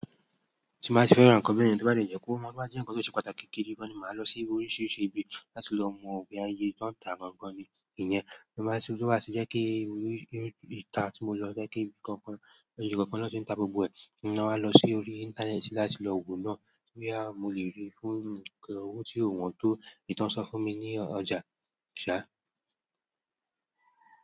Tí mo bá ti fẹ́ràn ọkọ̀ mẹ́rin, tí ó bá jẹ́ kó máa gba epo tó ṣe pàtàkì, kí n má bàa lọ sí oríṣiríṣi ibi láti lọ mọ̀ ọ̀nà ayé tó ń ta gbọ́ngán ni. Ìyẹn, mo máa sì yọ wá sí, kí n lè lọ sí orí ìta tí mo fẹ́ lọ, kí n sì lè ṣe nǹkan kan, ohun kan tó ń ta gbogbo ẹ̀. Nígbà náà, mo lọ sí orí íńtánẹ́ẹ̀tì láti lọ wò ó, bíi báwo ni mo ṣe lè rí i fún owó tí kò wọ́n tó, ìtàn sọ fún mi ní ọjà.